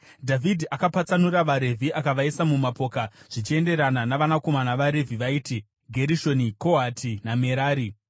Dhavhidhi akapatsanura vaRevhi akavaisa mumapoka zvichienderana navanakomana vaRevhi vaiti: Gerishoni, Kohati naMerari.